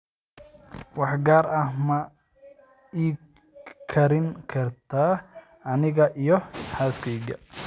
wax gaar ah ma ii karin kartaa aniga iyo xaaskayga